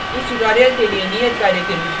इस tutorial के लिए नियत कार्य के रूप में